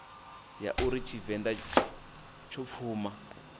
ya uri tshivenḓa tsho pfuma